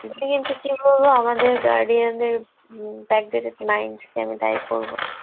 কিন্তু কী বলব আমাদের guardian দের উম back dated mind কে আমি দায়ী করবো